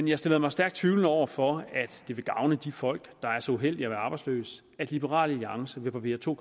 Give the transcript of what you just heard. jeg stiller mig stærkt tvivlende over for at det vil gavne de folk der er så uheldige arbejdsløse at liberal alliance vil barbere to